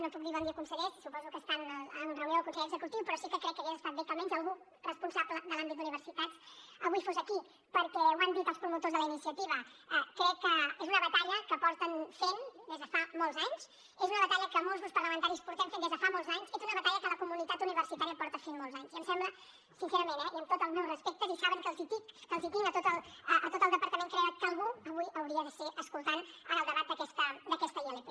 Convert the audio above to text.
no puc dir bon dia consellers suposo que estan en reunió del consell executiu però sí que crec que hagués estat bé que almenys algun responsable de l’àmbit d’universitats avui fos aquí perquè ho han dit els promotors de la iniciativa crec que és una batalla que porten fent des de fa molts anys és una batalla que molts grups parlamentaris portem fent des de fa molts anys és una batalla que la comunitat universitària porta fent molts anys i em sembla sincerament eh i amb tot els meus respectes i saben que els en tinc a tot el departament crec que avui algú hi hauria de ser escoltant el debat d’aquesta ilp